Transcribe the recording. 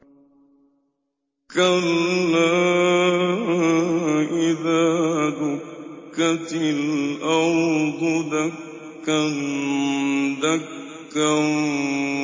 كَلَّا إِذَا دُكَّتِ الْأَرْضُ دَكًّا دَكًّا